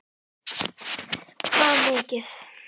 Hvað mikið?